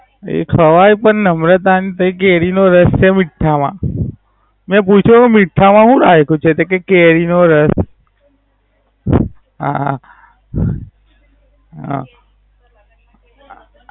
એ ખવાય પણ નમ્રતા ન તે કેરી નો રસ છે મીઠ્ઠા મા. મે પુછ્યું તુ મીઠા મા હુ રાખ્યું છે. તે કેય કેરી નો રસ. હા હા